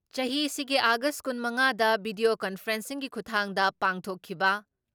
ꯆꯍꯤꯁꯤꯒꯤ ꯑꯥꯒꯁ ꯀꯨꯟ ꯃꯉꯥꯗ ꯚꯤꯗꯤꯌꯣ ꯀꯟꯐꯔꯦꯟꯁꯤꯡꯒꯤ ꯈꯨꯊꯥꯡꯗ ꯄꯥꯡꯊꯣꯛꯈꯤꯕ